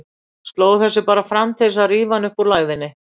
Sló þessu bara fram til þess að rífa hann upp úr lægðinni.